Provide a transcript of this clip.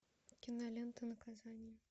кинолента наказание